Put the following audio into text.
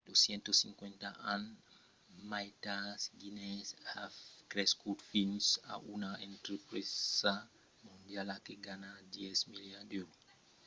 250 ans mai tard guinness a crescut fins a una entrepresa mondiala que ganha 10 miliards d’èuros 14,7 miliards de dolars americans cada annada